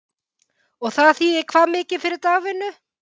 Og það þýðir hvað mikið fyrir dagvinnu?